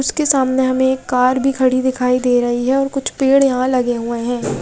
उसके सामने हमे एक कार भी खड़ी दिखाई दे रही है और कुछ पेड़ यहाँ लगे हुए है।